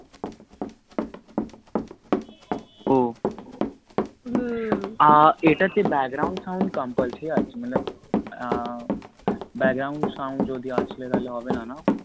ও হম এটাতে background sound compulsory আছে মতলব আহ background sound যদি আসলে তাহলে হবে না না